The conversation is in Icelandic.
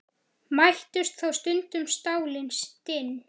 Mættust þá stundum stálin stinn.